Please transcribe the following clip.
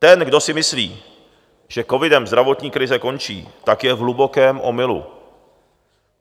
Ten, kdo si myslí, že covidem zdravotní krize končí, tak je v hlubokém omylu.